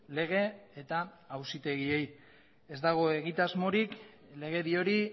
lege eta auzitegiei ez dago egitasmorik legedi hori